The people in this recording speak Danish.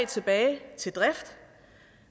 tilbage til drift og